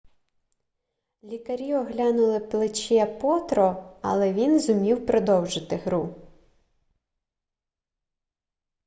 лікарі оглянули плече потро але він зумів продовжити гру